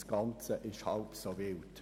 Das Ganze ist halb so wild.